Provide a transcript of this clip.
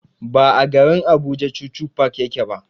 Ba a garin Abuja chuchu park yake ba.